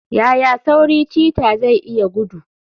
Yaya sauri cheetah zai iya gudu?